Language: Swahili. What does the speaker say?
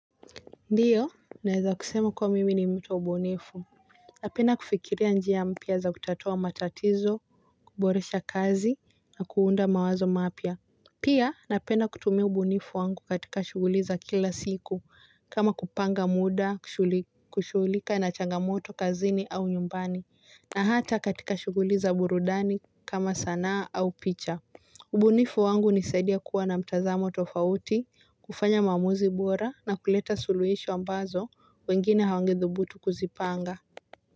Ndiyo, naweza kusema kuwa mimi ni mtu wa ubunifu. Napenda kufikiria njia mpya za kutatua matatizo, kuboresha kazi, na kuunda mawazo mapya. Pia, napenda kutumia ubunifu wangu katika shughuli za kila siku kama kupanga muda, kushughulika na changamoto, kazini au nyumbani, na hata katika shughuli za burudani kama sanaa au picha. Ubunifu wangu hunisaidia kuwa na mtazamo tofauti, kufanya maamuzi bora na kuleta suluhisho ambazo wengine hawangethubutu kuzipanga.